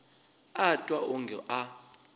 a a twa wonge a